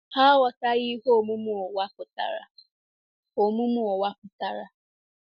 Ha aghọtaghị ihe omume ụwa pụtara. omume ụwa pụtara.